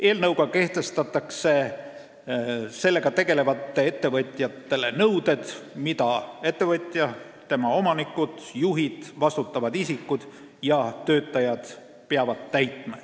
Eelnõuga kehtestatakse sellega tegelevale ettevõtjale nõuded, mida peavad täitma ettevõtja, tema omanikud, juhid, vastutavad isikud ja töötajad.